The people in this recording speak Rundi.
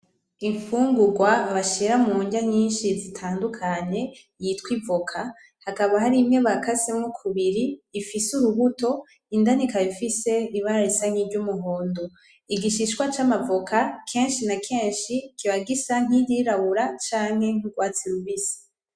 Imfungurwa bashira mundya nyinshi zitandukanye yitwa ivoka. Hakaba harimwe bakasemwo kubiri ifise urubuto. Indani ikaba ifise ibara risa n'iry'umuhondo. Igishishwa c'amavoka, kenshi na kenshi kiba gisa nk'iryirabura canke nk'urwatsi rubisi.